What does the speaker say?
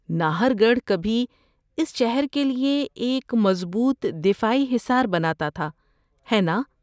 ناہر گڑھ کبھی اس شہر کے لیے ایک مضبوط دفاعی حصار بناتا تھا، ہے نا؟